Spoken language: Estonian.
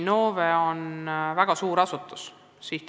Innove on väga suur asutus.